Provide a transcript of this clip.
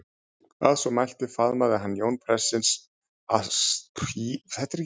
Að svo mæltu faðmaði hann Jón prestsins ástúðlega og honum að óvörum.